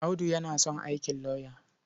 Audu yana son aikin lauya.